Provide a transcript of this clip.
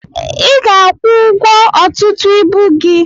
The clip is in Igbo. I ga akwụ ụgwọ ọtụtụ ibu gị.